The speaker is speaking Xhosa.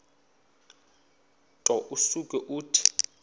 nto usuke uthi